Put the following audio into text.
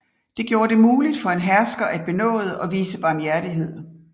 Det gjorde det muligt for en hersker at benåde og vise barmhjertighed